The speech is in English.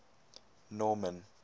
norman